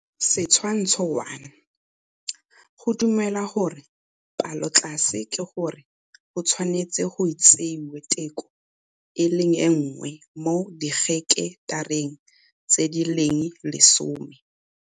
Setshwantsho 1 - Go dumelwa gore palotlase ke gore go tshwanetse go tseiwe teko e le nngwe mo diheketareng tse di leng lesome.